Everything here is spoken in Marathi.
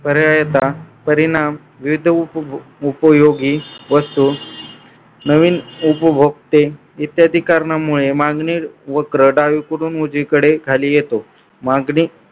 करायचा परिणाम भेट उपयोगी वस्तू नवीन उपभोक्ते इत्यादी कारणांमुळे मागणी वक्र डावीकडून उजवीकडे खाली येतो मागणी